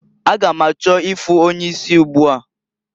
A ga m achọ ịfụ onye isi ugbua.